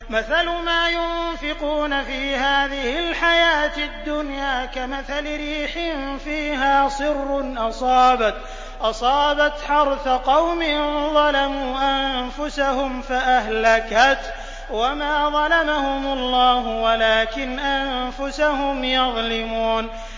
مَثَلُ مَا يُنفِقُونَ فِي هَٰذِهِ الْحَيَاةِ الدُّنْيَا كَمَثَلِ رِيحٍ فِيهَا صِرٌّ أَصَابَتْ حَرْثَ قَوْمٍ ظَلَمُوا أَنفُسَهُمْ فَأَهْلَكَتْهُ ۚ وَمَا ظَلَمَهُمُ اللَّهُ وَلَٰكِنْ أَنفُسَهُمْ يَظْلِمُونَ